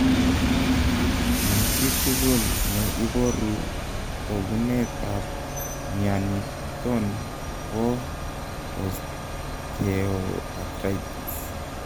ma chitugul ne iboru togunet ab mianiton bo osteoathritis